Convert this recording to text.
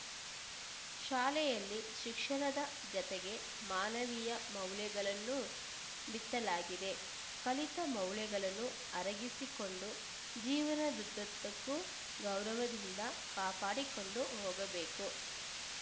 ಶಾಲೆಯಲ್ಲಿ ಶಿಕ್ಷಣದ ಜತೆಗೆ ಮಾನವೀಯ ಮೌಲ್ಯಗಳನ್ನು ಬಿತ್ತಲಾಗಿದೆ ಕಲಿತ ಮೌಲ್ಯಗಳನ್ನು ಅರಗಿಸಿಕೊಂಡು ಜೀವನದುದ್ದಕ್ಕೂ ಗೌರವದಿಂದ ಕಾಪಾಡಿಕೊಂಡು ಹೋಗಬೇಕು